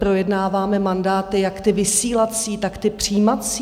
Projednáváme mandáty, jak ty vysílací, tak ty přijímací.